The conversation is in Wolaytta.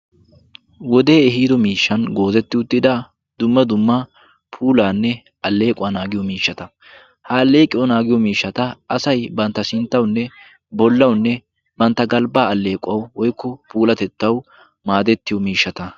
wodee ehiido miishshan goozetti uttida dumma dumma puulaanne alleequwaa naagiyo miishshata ha alleeqiyawu naagiyo miishshata asay bantta sinttaunne bollaunne bantta galbbaa alleequwau oykko puulatettawu maadettiyo miishshata